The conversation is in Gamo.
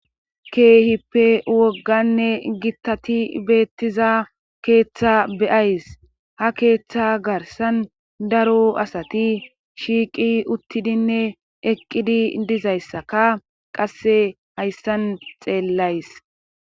Keehippe wogganne gittati beettiza keeththa beyays ha keeththa garsan daro asati shiiqi uttidinne eqqidi dizayssaka qasse hayssan xeellays